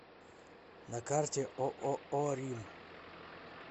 на карте ооо рим